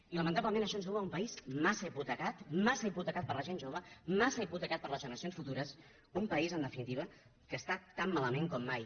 i lamentablement això ens duu a un país massa hipotecat massa hipotecat per a la gent jove massa hipotecat per a les generacions futures un país en definitiva que està tan malament com mai